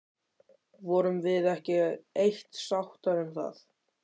Vorum við ekki á eitt sáttar um það?